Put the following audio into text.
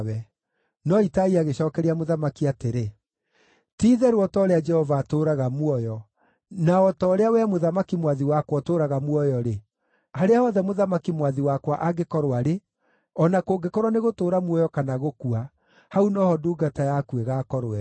No Itai agĩcookeria mũthamaki atĩrĩ, “Ti-itherũ o ta ũrĩa Jehova atũũraga muoyo, na o ta ũrĩa wee mũthamaki mwathi wakwa ũtũũraga muoyo-rĩ, harĩa hothe mũthamaki mwathi wakwa angĩkorwo arĩ, o na kũngĩkorwo nĩ gũtũũra muoyo kana gũkua, hau no ho ndungata yaku ĩgaakorwo ĩrĩ.”